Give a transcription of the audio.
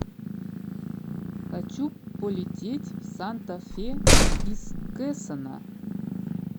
хочу полететь в санта фе из кэсона